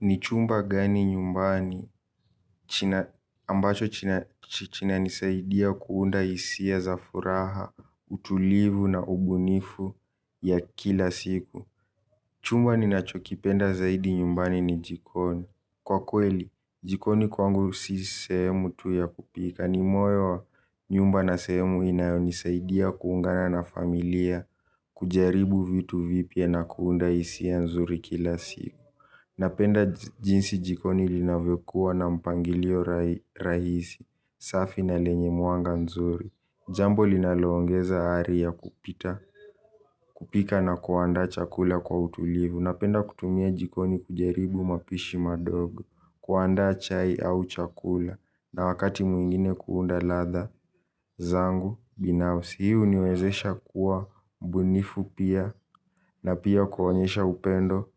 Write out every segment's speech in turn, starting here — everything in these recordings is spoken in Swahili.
Ni chumba gani nyumbani ambacho kinanisaidia kuunda hisia za furaha, utulivu na ubunifu ya kila siku. Chumba ninachokipenda zaidi nyumbani ni jikoni. Kwa kweli, jikoni kwangu si sehemu tu ya kupika. Ni moyo wa nyumba na sehemu inayonisaidia kuungana na familia kujaribu vitu vipya na kuunda hisia nzuri kila siku. Napenda jinsi jikoni linavyokuwa na mpangilio rahisi, safi na lenye mwanga nzuri. Jambo linaloongeza ari ya kupita, kupika na kuandaa chakula kwa utulivu. Napenda kutumia jikoni kujaribu mapishi madogo, kuandaa chai au chakula, na wakati mwingine kuunda ladha, zangu, binafsi. Hii huniwezesha kuwa mbunifu pia na pia kuonyesha upendo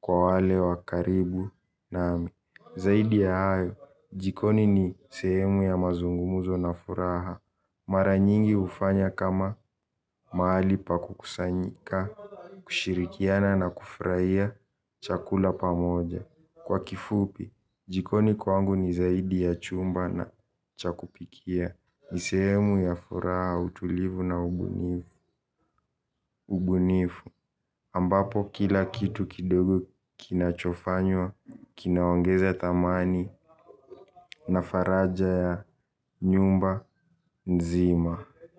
kwa wale wa karibu nami. Zaidi ya hayo, jikoni ni sehemu ya mazungumzo na furaha. Mara nyingi hufanya kama mahali pa kukusanyika, kushirikiana na kufurahia chakula pamoja. Kwa kifupi, jikoni kwangu ni zaidi ya chumba na cha kupikia. Ni sehemu ya furaha utulivu na ubunifu ambapo kila kitu kidogo kinachofanywa kinaongeza thamani na faraja ya nyumba nzima.